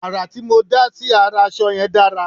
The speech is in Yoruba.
àrà tí mó dá sí ará aṣọ yẹn dára